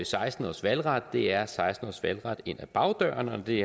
seksten års valgret det er seksten års valgret ind ad bagdøren og når det